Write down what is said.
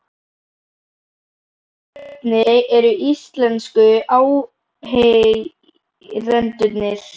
Hafsteinn: Hvernig eru íslensku áheyrendurnir?